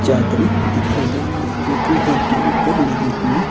चादरी दिखाई दे रही है जो कि घर के ऊपर लगी हुई--